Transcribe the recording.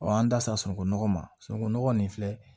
an da sera sununkunɔgɔ ma sunungunɔgɔ nin filɛ